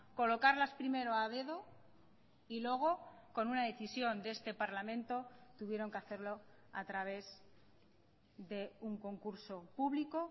colocarlas primero a dedo y luego con una decisión de este parlamento tuvieron que hacerlo a través de un concurso público